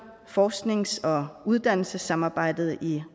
forsknings og uddannelsessamarbejdet i